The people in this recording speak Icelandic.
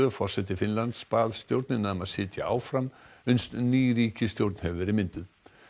forseti Finnlands bað stjórnina um að sitja áfram uns ný ríkisstjórn hefur verið mynduð